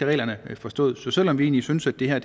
reglerne skal forstås så selv om vi egentlig synes at det her